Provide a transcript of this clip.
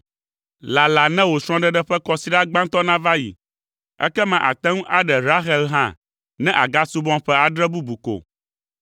Lala ne wò srɔ̃ɖeɖe ƒe kɔsiɖa gbãtɔ nava yi, ekema àte ŋu aɖe Rahel hã ne àgasubɔm ƒe adre bubu ko!”